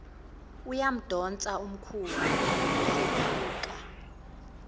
uyamdonsa umkhulu kuphephuka